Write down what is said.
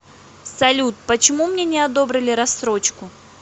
салют почему мне не одобрили рассрочку